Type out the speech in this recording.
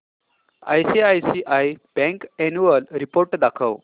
ICICI bank annual report दाखव